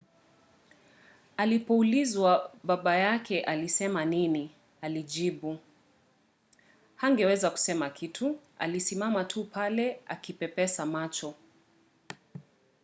alipoulizwa baba yake alisema nini alijibu hangeweza kusema kitu- alisimama tu pale akipepesa macho.